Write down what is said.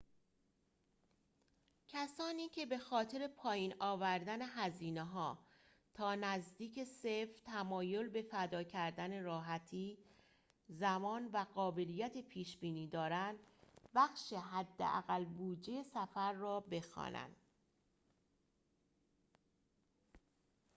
کسانی که بخاطر پایین آوردن هزینه‌ها تا نزدیک صفر تمایل به فدا کردن راحتی زمان و قابلیت پیش‌بینی دارند بخش حداقل بودجه سفر را بخوانند